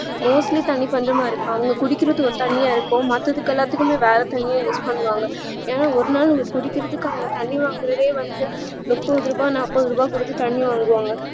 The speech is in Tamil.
mostly தண்ணீ பஞ்சமா இருக்கு அவங்க குடிக்கிறது ஒரு தண்ணீயா இருக்கும் மத்ததுக்கு எல்லாத்துக்குமே வேற தண்ணிய use பண்ணுவாங்க ஏனா ஒரு நாள் அவங்க குடிக்கிறதுக்காக தண்ணீ வாங்கறதே வந்து முப்பத்து ரூபா நாப்பது ரூபா குடுத்து தண்ணீ வாங்குவாங்க